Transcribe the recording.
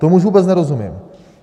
Tomu už vůbec nerozumím.